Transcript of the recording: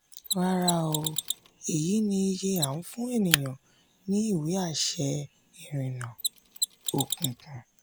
rárá o èyí ni iye à ń fún èèyàn ní ìwé àṣẹ ìrìnnà òkùnkùn.